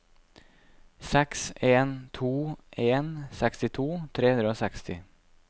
seks en to en sekstito tre hundre og seksti